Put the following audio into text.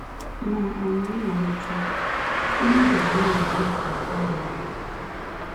Ná um mmalite mmadụ ole na ole ga-aga ụlọ ọgwụ